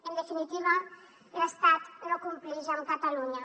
en definitiva l’estat no complix amb catalunya